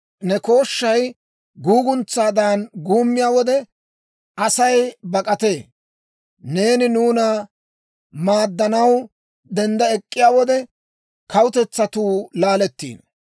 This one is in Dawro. Ne kooshshay guuguntsaadan guummiyaa wode Asay bak'atee; neeni nuuna maaddanaw dendda ek'k'iyaa wode, kawutetsatuu laalettiino.